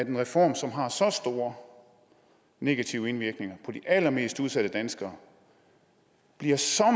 en reform som har så store negative indvirkninger på de allermest udsatte danskere bliver så